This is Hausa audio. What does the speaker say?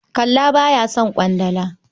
Kalla ba ya son ƙwandala.